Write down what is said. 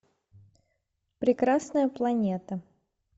прекрасная планета